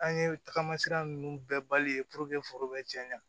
An ye tagama sira ninnu bɛɛ bali foro be cɛɲa